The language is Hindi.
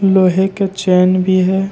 लोहे के चैन भी है।